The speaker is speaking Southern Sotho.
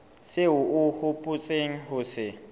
seo o hopotseng ho se